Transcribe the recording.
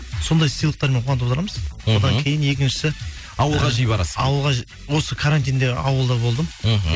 сондай сыйлықтармен қуантып отырамыз мхм одан кейін екіншісі ауылға жиі барасыз ауылға осы карантинде ауылда болдым мхм